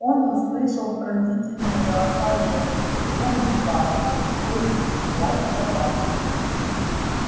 он услышал пронзительные голоса женщин грубый бас мужской речи лай собак